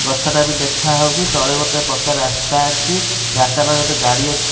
ଗଛ ଟା ବି ଦେଖା ହଉଚି ତଳେ ଗୋଟେ ପକା ରାସ୍ତା ଅଛି ରାସ୍ତା ପାଖେ ଗୋଟେ ଗାଡି ଅଛି।